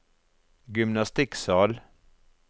gymnastikksal